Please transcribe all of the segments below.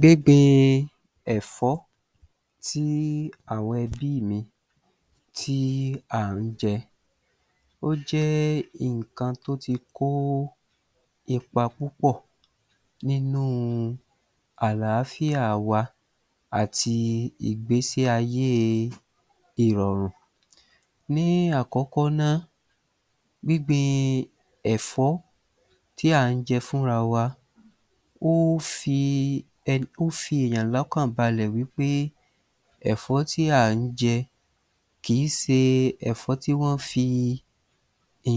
gbíngbin ẹ̀fọ́ tí àwọn ẹbí mi tí à ń jẹ, ó jẹ́ nǹkan tó ti kó ipa púpọ̀ nínú àlàáfíà wa àti ìgbésí-ayé ìrọ̀rùn. Ní àkọ́kọ́ náà, gbíngbin ẹ̀fọ́ tí à ń jẹ fúnra wa, ó fi ó fi èèyàn lọ́kàn balẹ̀ wí pé ẹ̀fọ́ tí à ń jẹ kìí se ẹ̀fọ́ tí wọ́n fi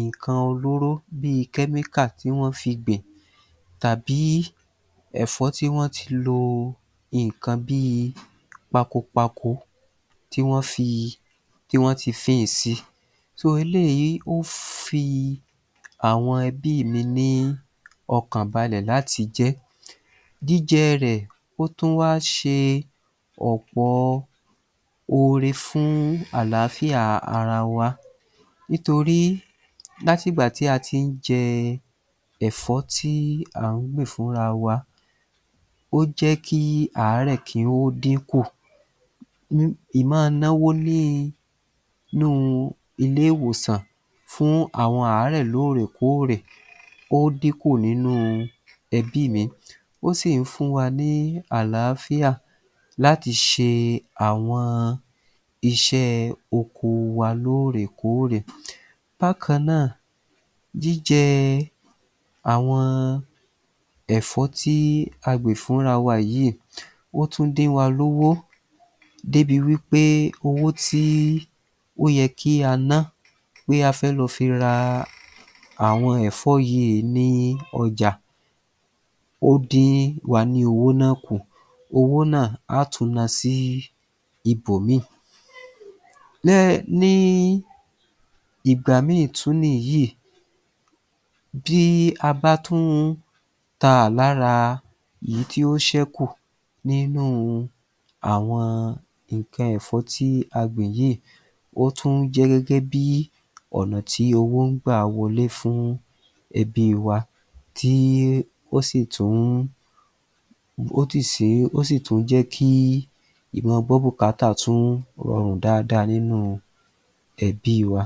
nǹkan olóró bí i tí wọ́n fi gbìn tàbí ẹ̀fọ́ tí wọ́n ti lo nǹkan bí i pakopako tí wọ́n fi tí wọ́n ti si. eléyìí ó fi àwọn ẹbí mi ní ọkàn balẹ̀ láti jẹ́. Jíjẹ rẹ̀, ó tún wá ṣe ọ̀pọ ore fún àlàáfíà ara wa nítorí láti ìgbà tí a tí ń jẹ ẹ̀fọ́ tí à ń gbìn fúnra wa, ó jẹ́ kí àárẹ̀ kí ó dínkù. nọ́wo níi nu ilé-ìwòsàn fún àwọn àárẹ̀ lóòrèkóórè ó dínkù nínú ẹbí mi. Ó sì ń fún wa ní àlàáfíà láti ṣe àwọn iṣẹ́ oko wa lóòrèkóórè. Bákan náà jíjẹ àwọn ẹ̀fọ́ tí a gbìn fúnra wa yìí, ó tún dín wa lówó débi wí pé owó tí ó yẹ kí a nọ́ bóyá a fẹ́ lọ fi ra àwọn ẹ̀fọ́ yìí ní ọjà, ó dín wa ní owó náà kù. Owó náà, á tùn nọ sí ibòmíì. Ní ìgbà mi tún niyìí bí a bá tún ta lára ìyí tí ó ṣẹ́kù nínú àwọn nǹkan ẹ̀fọ́ tí a gbìn yìí, ó tún jẹ́ gẹ́gẹ́bí ọ̀nà tí owó ń gbà wọlé fún ẹbí wa tí ó sì tún ó tì sí ó sì tún jẹ́ kí ìma gbọ́ bùkátà tún rọrùn dáadáa nínú ẹbí wa.